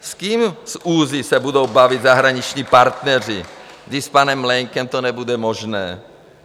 S kým z ÚZSI se budou bavit zahraniční partneři, když s panem Mlejnkem to nebude možné?